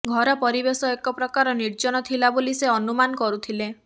ଘର ପରିବେଶ ଏକ ପ୍ରକାର ନିର୍ଜନ ଥିଲା ବୋଲି ସେ ଅନୁମାନ କରୁଥିଲେ